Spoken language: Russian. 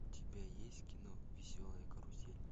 у тебя есть кино веселая карусель